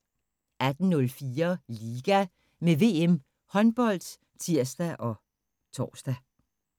18:04: LIGA – med VM Håndbold (tir og tor)